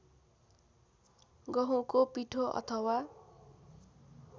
गहुँको पिठो अथवा